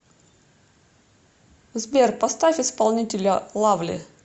сбер поставь исполнителя лавли